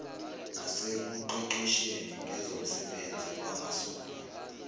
nasekuqeqesheni ngezomsebenzi wangasogwini